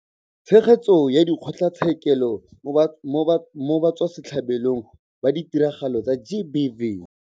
Tshegetso ya Dikgotlatshekelo mo Batswasetlhabelong ba Ditiragalo tsa GBV.